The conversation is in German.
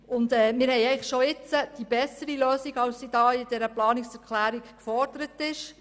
Wir haben schon jetzt die bessere Lösung, als sie mit dieser Planungserklärung gefordert wird: